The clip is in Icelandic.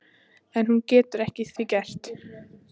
En hún getur ekki að því gert.